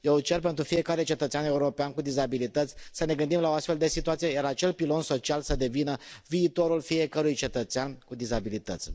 Eu cer pentru fiecare cetățean european cu dizabilități să ne gândim la o astfel de situație, iar acel pilon social să devină viitorul fiecărui cetățean cu dizabilități.